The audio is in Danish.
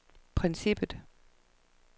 princippet